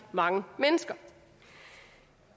mange mennesker